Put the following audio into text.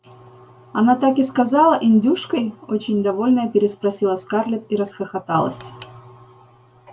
она так и сказала индюшкой очень довольная переспросила скарлетт и расхохоталась